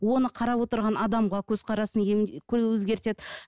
оны қарап отырған адамға көзқарасын өзгертеді